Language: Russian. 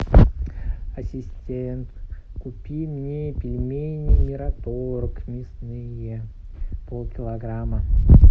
ассистент купи мне пельмени мираторг мясные полкилограмма